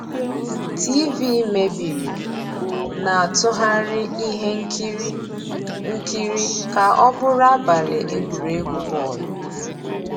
TV meébìrí, ná-àtụ́ghàrị́ íhé nkírí nkírí ká ọ́ bụ́rụ́ àbàlí égwurégwu bọ́ọ̀lụ́.